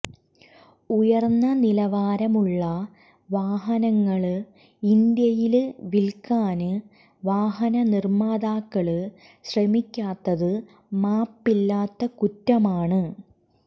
ഉയര്ന്ന നിലവാരമുള്ള വാഹനങ്ങള് ഇന്ത്യയില് വില്ക്കാന് വാഹന നിര്മ്മാതാക്കള് ശ്രമിക്കാത്തത് മാപ്പില്ലാത്ത കുറ്റമാണ്